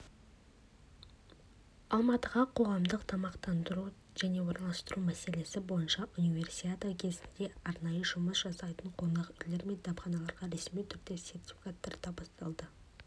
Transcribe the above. алматыда қоғамдық тамақтану және орналастыру мәселесі бойынша универсиада кезінде арнайы жұмыс жасайтын қонақ үйлер мен дәмханаларға ресми түрде сертификаттар табысталды